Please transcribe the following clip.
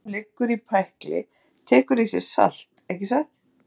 Hlutur sem liggur í pækli tekur í sig salt, ekki satt?